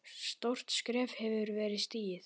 Stórt skref hefur verið stigið.